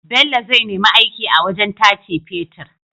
Bello zai nemi aiki a wajan tace fetir